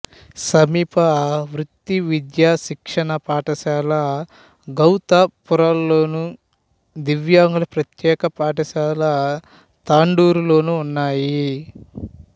సమీప వృత్తి విద్యా శిక్షణ పాఠశాల గౌతాపూర్లోను దివ్యాంగుల ప్రత్యేక పాఠశాల తాండూరు లోనూ ఉన్నాయి